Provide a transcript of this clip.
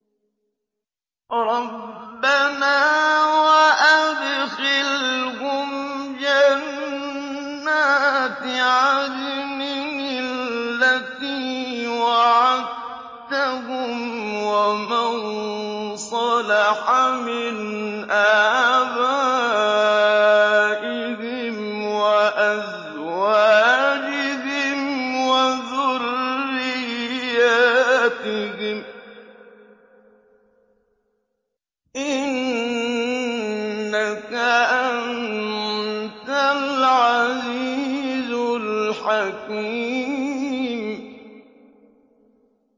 رَبَّنَا وَأَدْخِلْهُمْ جَنَّاتِ عَدْنٍ الَّتِي وَعَدتَّهُمْ وَمَن صَلَحَ مِنْ آبَائِهِمْ وَأَزْوَاجِهِمْ وَذُرِّيَّاتِهِمْ ۚ إِنَّكَ أَنتَ الْعَزِيزُ الْحَكِيمُ